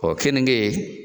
kenige